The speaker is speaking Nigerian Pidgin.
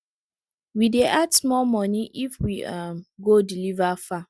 we dey add small money if we um go deliver far